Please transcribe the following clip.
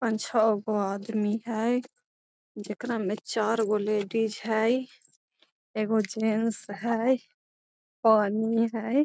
पांच - छगो आदमी है जेकरा में चारगो लेडीज है एगो जेंट्स है पानी है।